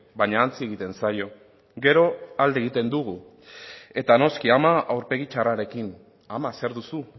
baina ahantzi egiten zaio gero alde egiten dugu eta noski ama aurpegi txarrarekin ama zer duzu